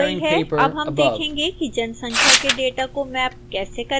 अब हम देखेंगे कि जनसंख्या के डेटा को मैप कैसे करें